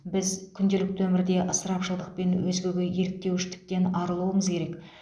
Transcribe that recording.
біз күнделікті өмірде ысырапшылдықпен өзгеге еліктеуіштіктен арылуымыз керек